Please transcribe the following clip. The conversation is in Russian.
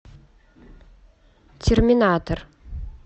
терминатор